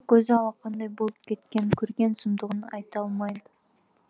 екі көзі алақандай болып кеткен көрген сұмдығын айта алмайды